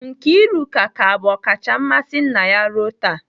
Nkiruka ka bụ ọkacha mmasị nna ya ruo taa.